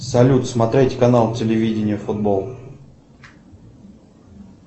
салют смотреть канал телевидения футбол